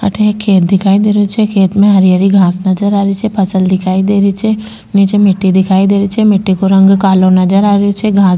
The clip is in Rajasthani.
अठे एक खेत दिखाई दे रहियो छे खेत में हरी हरी घास नजर आ रही छे फसल दिखाई दे रही छे नीचे मिट्टी दिखाई दे रही छे मिट्टी को रंग कालो नजर आ रहियो छे घास --